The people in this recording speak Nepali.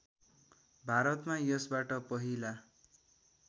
भारतमा यसबाट पहिला